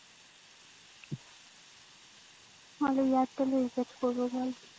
আমি airtel এ করবো ভাই